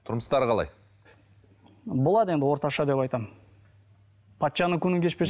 тұрмыстары қалай болады енді орташа деп айтамын патшаның күнін кешпес